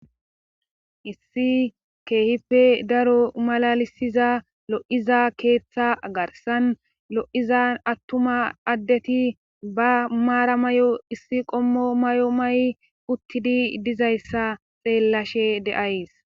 Issi keehippe daro malalisiza lo7iza keeththa garsan lo7izan attuma addeti ba maara may7o issi qommo may7o may7 uttidi dizayssa xeellashe deays.